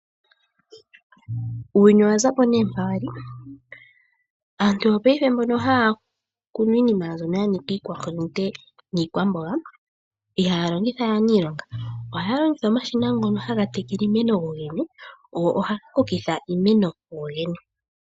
Uuyuni owaza po nee mpa wali. Aantu yopaife mbono haya kunu iinima mbyoka ya nika iikwahulute niikwamboga ihaya longitha we aanilonga, ohaya longitha omashina ngono haga tekele iimeno go gene go ohaga kokitha iimeno kugo gene.